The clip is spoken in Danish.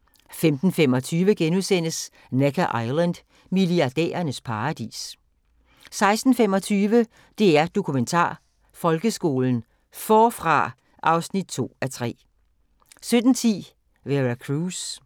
* 15:25: Necker Island: Milliardærernes paradis * 16:25: DR Dokumentar: Folkeskolen – Forfra (2:3) 17:10: Vera Cruz